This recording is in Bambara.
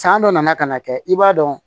San dɔ nana ka na kɛ i b'a dɔn